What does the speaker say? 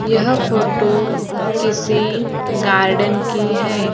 यह फोटो किसी गार्डन की हैं।